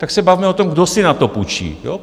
Tak se bavme o tom, kdo si na to půjčí.